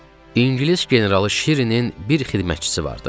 İngilis generalı Şirinin bir xidmətçisi vardı.